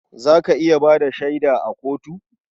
Za ka iya ba da shaida a kotu?